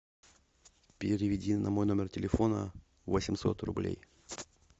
переведи на мой номер телефона восемьсот рублей